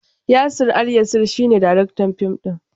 Yasir Alyasir shi ne daraktan fim din.